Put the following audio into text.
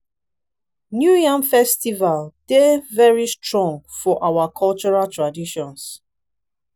new yam festival dey very strong for our cultural traditions.